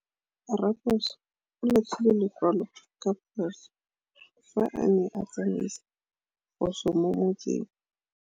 Raposo o latlhie lekwalô ka phosô fa a ne a tsamaisa poso mo motseng.